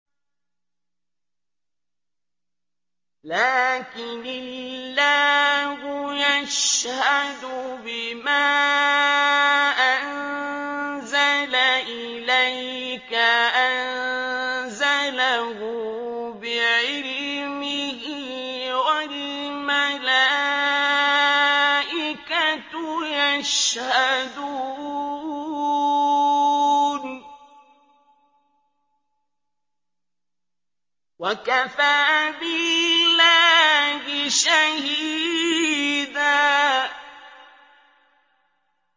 لَّٰكِنِ اللَّهُ يَشْهَدُ بِمَا أَنزَلَ إِلَيْكَ ۖ أَنزَلَهُ بِعِلْمِهِ ۖ وَالْمَلَائِكَةُ يَشْهَدُونَ ۚ وَكَفَىٰ بِاللَّهِ شَهِيدًا